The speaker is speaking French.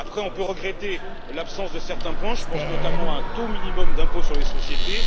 Après, on peut regretter l'absence de certains points. Je pense notamment à un taux minimum d'impôt sur les sociétés.